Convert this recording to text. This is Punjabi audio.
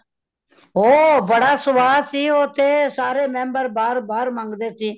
ਉਹ ਬੜਾ ਸਵਾਦ ਸੀ , ਉਹਤੇ ਸਾਰੇ member ਬਾਰ ਬਾਰ ਮੰਗਦੇ ਸੀ ,